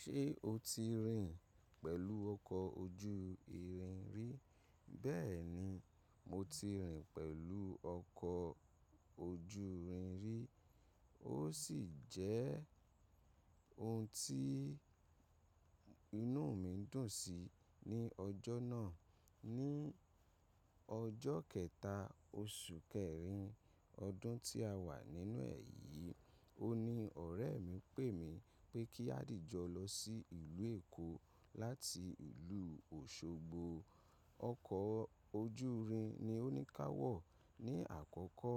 Ṣé o ti rìn pẹ̀lú ọkọ̀ ojú irin rí? Bẹ́ẹ̀ni, mo ti rìn pẹ̀lú ọkọ̀ ojú irin rí. Ó sì jẹ́ ohun tí inú mi dùn sí ní ọjọ́ náà. Ni ọjọ́ kẹta, oṣù kẹrin ọdún tí a wà nínú ẹ̀yí, òní ọ̀rẹ́ mi pè mi pé kí a dìjọ lọ sí ìlú Èkó láti ìlú Òṣogbo. Ọkọ̀ ojú irin ni ó ní káwọ̀. Ni àkọ́kọ́,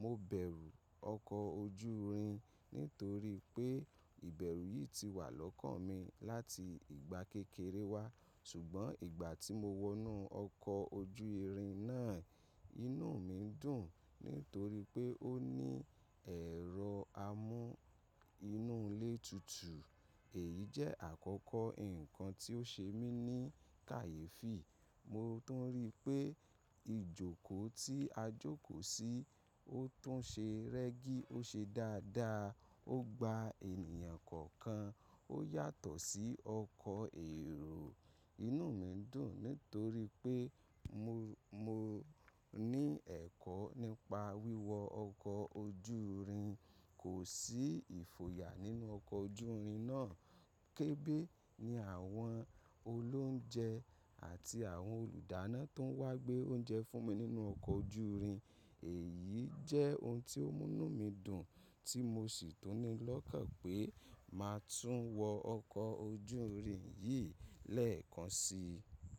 mo bẹ̀rù ọkọ̀ ojú irin nítorí pé ìbẹ̀rù yìí ti wà lọ́kàn mi láti ìgbà kékeré wa. Ṣùgbọ́n ìgbà tí mo wọnú ọkọ̀ ojú irin náà, inú mi dùn nítorí pé ó ní ẹ̀rọ amú inú ilé tutù. Èyí jẹ́ àkọ́kọ́ nǹkan tí ó ṣe mí ní kàyéfì. Mo tún rí pé ìjókòó tí a jókòó sí, ó tún ṣe rẹ́gí, ó ṣe dáadáa, ó gba ènìyàn kọ̀ọ̀kan. Ó yàtọ̀ sí ọkọ̀ èrò. Inú mi dùn nítorí pé mo, mo ní ẹ̀kọ́ nípa wíwọ ọkọ̀ ojú irin. Kò sí ìfo yà nínú ọkọ̀ ojú irin náà. Kébè ni àwọn olóunjẹ àti àwọn olùdáná tó wá gbé oúnjẹ fún mi nínú ọkọ̀ ojú irin. Èyí jẹ́ ohun tí ó mú inú mi dùn tí mo sì tún ní lọ́kàn pé máa tún wọ ọkọ̀ ojú irin yìí lẹ́ẹ̀kan si.